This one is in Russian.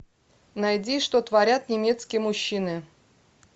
найди что творят немецкие мужчины